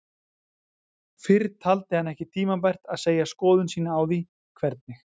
Fyrr taldi hann ekki tímabært að segja skoðun sína á því, hvernig